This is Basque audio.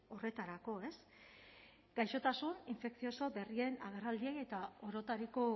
horretarako ez gaixotasun infekzioso berrien agerraldiei eta orotariko